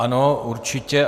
Ano, určitě.